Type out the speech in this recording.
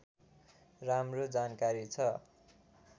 राम्रो जानकारी छ